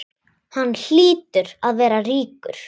Hann hlýtur að vera ríkur.